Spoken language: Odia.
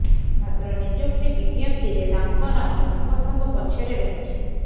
ମାତ୍ର ନିଯୁକ୍ତି ବିଜ୍ଞପ୍ତିରେ ତାଙ୍କ ନାମ ସମସ୍ତଙ୍କ ପଛରେ ରହିଛି